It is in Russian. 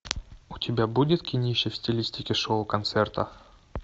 у тебя будет кинище в стилистике шоу концерта